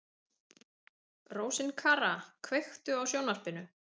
Rósinkara, kveiktu á sjónvarpinu.